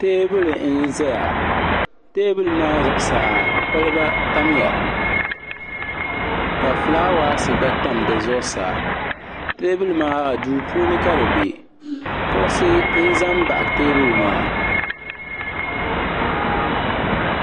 teebuli n ʒɛya teebuli maa zuɣusaa kɔliba tamya ka fulaawaasi gba tam di zuɣusaa teebuli maa duu puuni ka di bɛ kuɣusi n ʒɛ n baɣa teebuli maa